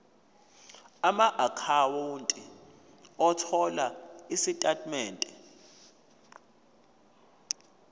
amaakhawunti othola izitatimende